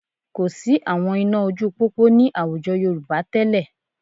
Kò sí àwọn iná ojú pópó ní àwùjọ Yorùbá tẹ́lẹ̀